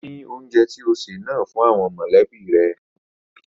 Pín oúnjẹ tó ṣè náà fún àwọn mọ̀lẹ́bí rẹ